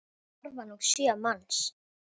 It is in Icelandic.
Þar starfa nú sjö manns.